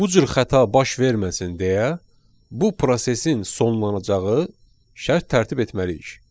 Bu cür xəta baş verməsin deyə bu prosesin sonlanacağı şərt tərtib etməliyik.